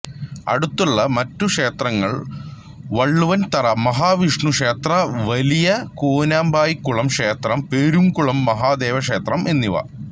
അടുത്തുള്ള മറ്റു ക്ഷേത്രങ്ങൾ വള്ളുവൻതറ മഹാവിഷ്ണു ക്ഷേത്രംവലിയ കൂനമ്പായിക്കുളം ക്ഷേത്രം പെരുംകുളം മഹാദേവ ക്ഷേത്രം എന്നിവ